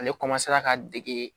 Ale ka dege